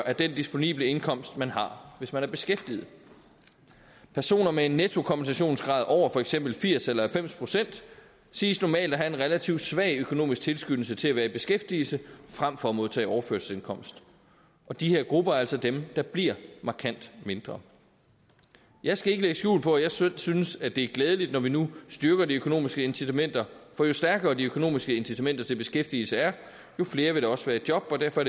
af den disponible indkomst man har hvis man er beskæftiget personer med en nettokompensationsgrad over for eksempel firs procent eller halvfems procent siges normalt at have en relativt svag økonomisk tilskyndelse til at være i beskæftigelse frem for at modtage overførselsindkomst og de her grupper er altså dem der bliver markant mindre jeg skal ikke lægge skjul på at jeg synes synes det er glædeligt når vi nu styrker de økonomiske incitamenter for jo stærkere de økonomiske incitamenter til beskæftigelse er jo flere vil der også være i job og derfor